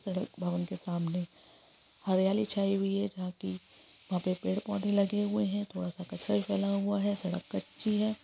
सड़क भवन के सामने हरियाली छाई हुई है जहाँ कि वहाँ पे पेड़-पौधे लगे हुए हैं थोड़ा सा कचरा भी फैला हुआ है सड़क कच्ची है।